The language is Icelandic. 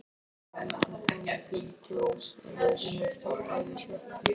Þegar rútan kom á Blönduós hafði hún stoppað við sjoppu.